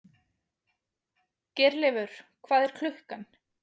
Geirleifur, hvað er klukkan?